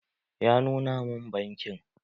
Ya nuna mun bankin